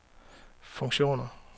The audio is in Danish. funktioner